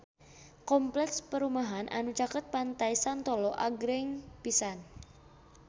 Kompleks perumahan anu caket Pantai Santolo agreng pisan